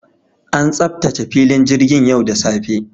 An tsaftace filin jirgin yau da safe.